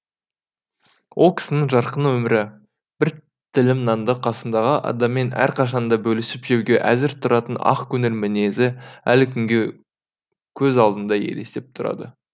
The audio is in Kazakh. ол кісінің жарқын өмірі бір тілім нанды қасындағы адаммен әрқашанда бөлісіп жеуге әзір тұратын ақкөңіл мінезі әлі күнге көз алдымда елестеп тұрады